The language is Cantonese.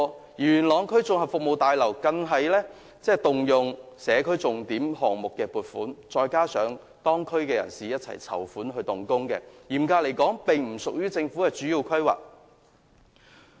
此外，元朗區綜合服務大樓更要動用社區重點項目計劃的撥款，還要加上當區人士籌款才得以動工，所以嚴格來說，並不屬於政府的主要規劃。